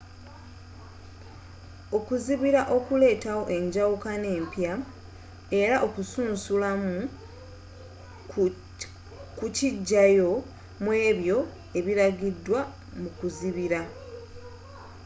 okuzibira kuleetawo enjawukana empya era okusaunsulamu kukijayo muebyo ebiragidwa mu kuzibira